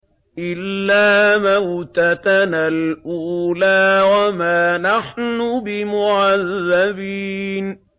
إِلَّا مَوْتَتَنَا الْأُولَىٰ وَمَا نَحْنُ بِمُعَذَّبِينَ